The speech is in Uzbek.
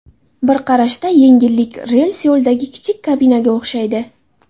Bir qarashda yangilik rels yo‘lidagi kichik kabinaga o‘xshaydi.